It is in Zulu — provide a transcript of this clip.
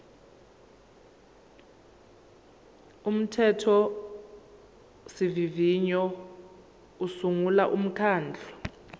umthethosivivinyo usungula umkhandlu